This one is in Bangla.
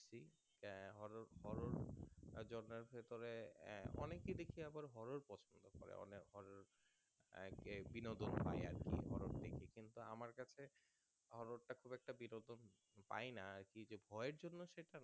ভেতরে আহ অনেকেই দেখি আবার Horror পছন্দ করে অনেক horror আহ এক বিনোদন হয় আরকি horror থেকে কিন্তু আমার কাছে horror টা খুব একটা বিনোদন পাই না আরকি যে ভয়ের জন্য সেটা